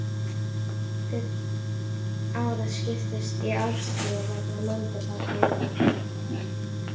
Árið skiptist í árstíðir vegna möndulhalla jarðar.